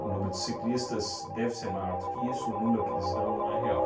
número de ciclistas deve ser maior do que isso, o número que eles dão não é real.